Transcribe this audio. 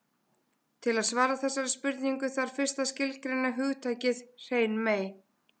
Til að svara þessari spurningu þarf fyrst að skilgreina hugtakið hrein mey.